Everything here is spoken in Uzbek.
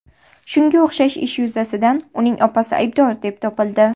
Shunga o‘xshash ish yuzasidan uning opasi aybdor deb topildi.